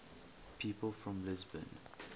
people from lisbon